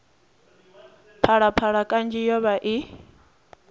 phalaphala kanzhi yo vha i